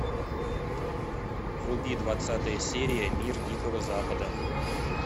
вруби двадцатая серия мир дикого запада